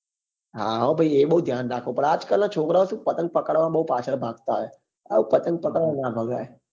હા હો ભાઈ એ બઉ ધ્યાન રાખવું રાખવું પડે આજ કાલ નાં છોકરા ઓ શું પતંગ પકડવા બઉ પાછળ ભાગતા હોય સાવ પતંગ પકડવા નાં ભગાય